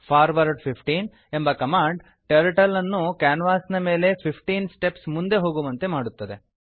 forward 15 ಎಂಬ command Turtleಅನ್ನು ಕ್ಯಾನ್ವಾಸಿನ ಮೇಲೆ 15 ಸ್ಟೆಪ್ಸ್ ಮುಂದೆ ಹೋಗುವಂತೆ ಮಾಡುತ್ತದೆ